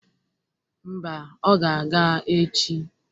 Mba, ọ ga-aga echi